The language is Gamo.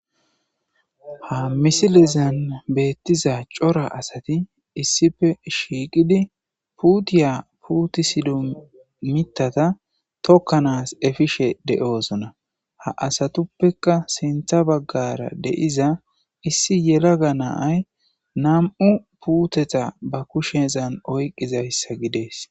ha misilezan beettiza cora asati issife shiiqidi puutiya putisido mitata tokkanaas efishe de7oosona ha asatuppeka sintha baggara deiza issi yelaga naay nam7u puuteta ba kushezan oyqqizayssa gidees